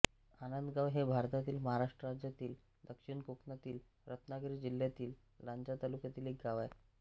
आनंदगाव हे भारतातील महाराष्ट्र राज्यातील दक्षिण कोकणातील रत्नागिरी जिल्ह्यातील लांजा तालुक्यातील एक गाव आहे